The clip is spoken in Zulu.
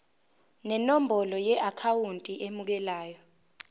nenombolo yeakhawunti emukelayo